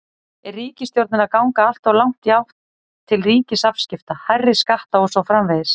Er ríkisstjórnin að ganga alltof langt í átt til ríkisafskipta, hærri skatta og svo framvegis?